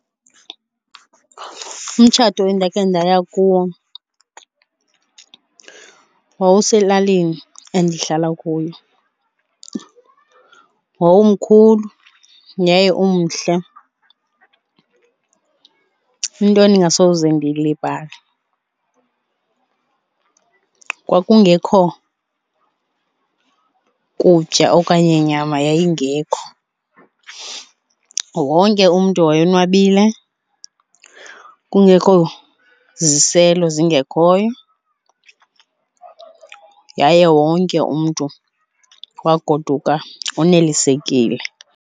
Umtshato endakhe ndaya kuwo wawuselalini endihlala kuyo, wawumkhulu yaye umhle. Into endingasoze ndiyilibale kwakungekho kutya okanye nyama yayingekho wonke umntu wayonwabile, kungekho ziziselo zingekhoyo yaye wonke umntu wagoduka onelisekile.